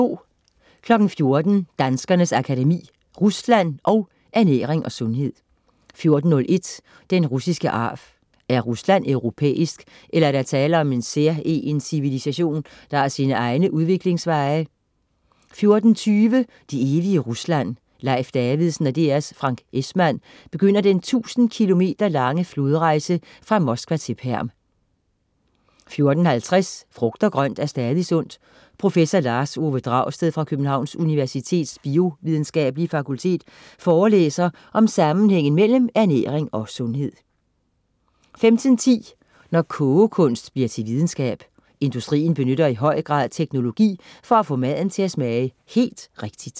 14.00 Danskernes Akademi. Rusland & Ernæring og sundhed 14.01 Den russiske arv. Er Rusland europæisk, eller er der tale om en særegen civilisation, der har sine egne udviklingsveje? 14.20 Det evige Rusland. Leif Davidsen og DR's Frank Esmann begynder den tusinde kilometer lange flodrejse fra Moskva til Perm 14.50 Frugt og grønt er stadig sundt. Prof. Lars Ove Dragsted fra Københavns Universitets biovidenskabelige fakultet forelæser om sammenhængen mellem ernæring og sundhed 15.10 Når kogekunst bliver til videnskab. Industrien benytter i høj grad teknologi for at få maden til at smage helt rigtig